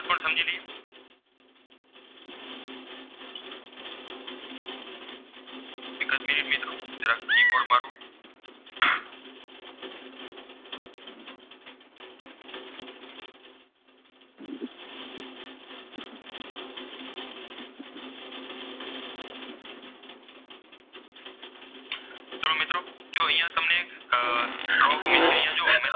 means કે અહીંયા જો મેં તમે.